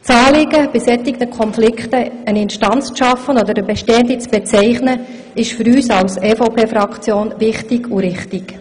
Das Anliegen, bei solchen Konflikten eine Instanz zu schaffen oder eine bestehende zu bezeichnen, ist für die EVP-Fraktion wichtig und richtig.